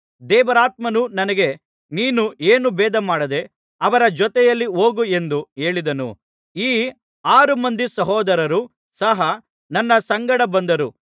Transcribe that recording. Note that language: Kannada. ದೇವರಾತ್ಮನು ನನಗೆ ನೀನು ಏನೂ ಭೇದಮಾಡದೆ ಅವರ ಜೊತೆಯಲ್ಲಿ ಹೋಗು ಎಂದು ಹೇಳಿದನು ಈ ಆರು ಮಂದಿ ಸಹೋದರರು ಸಹ ನನ್ನ ಸಂಗಡ ಬಂದರು